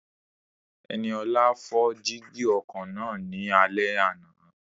Ẹniọlá fọ́ jígí ọkọ̀ náà ní alẹ́ àná